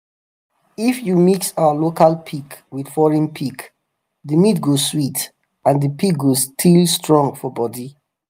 if you mix our local pig with foreign pig the meat go sweet and the pig go still strong for body.